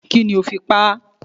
Kí ni ó fi pa á?